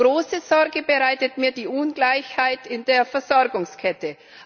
Große Sorge bereitet mir die Ungleichheit in der Versorgungskette.